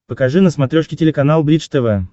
покажи на смотрешке телеканал бридж тв